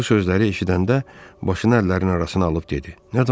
Bu sözləri eşidəndə başını əllərinin arasına alıb dedi: Nə danışırsız?